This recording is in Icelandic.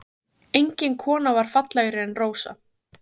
Engin kona var fallegri en Rósa.